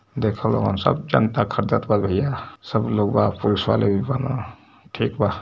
देख लोगन सब जनता ख़रीदत बा भैया सभी लोग बा पुलिस वाले भी बानन ठीक बा।